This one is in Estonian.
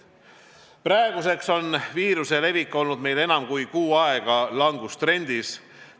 Praeguseks on viiruse levik olnud meil enam kui kuu aega langustrendis.